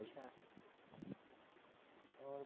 ਅੱਛਾ ਹੋਰ